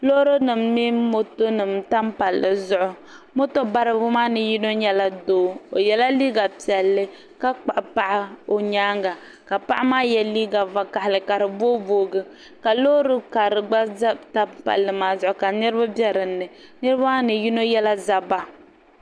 loori nim mini moto nim n tam palli zuɣu moto baribi maa ni yino nyɛla doo o yɛla liiga piɛlli ka kpuɣu paɣa o nyaanga ka paɣa maa yɛ liiga vakaɣali ka di booi booi gi ka loori karili gba ʒɛ n tam palli maa zuɣu ka niraba bɛ dinni niraba maa ni yino yɛla zabba